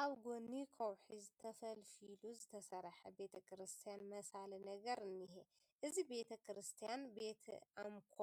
ኣብ ጐኒ ከውሒ ተፈልፊሉ ዝተሰርሐ ቤተ ክርስቲያን መሳሊ ነገር እኒሀ፡፡ እዚ ቤተ ክርስቲያን ቤተ ኣምኮ